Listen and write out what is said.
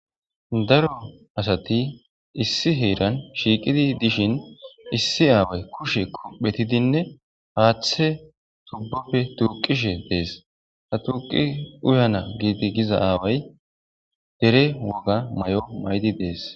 Daro asati issi heeran shiiqidi dishin issi aaway kushe kophetidinne haaththe tubbofe tuuqishe dees ha tuuqi uyana giiti giza aaway dere woga may7o maydi dees.